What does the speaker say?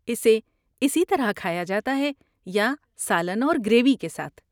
اسے اسی طرح کھایا جاتا ہے یا سالن اور گریوی کے ساتھ۔